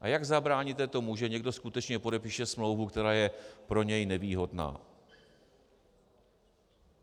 A jak zabráníte tomu, že někdo skutečně podepíše smlouvu, která je pro něj nevýhodná?